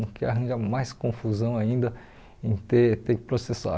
Não quero arranjar mais confusão ainda em ter ter que processar.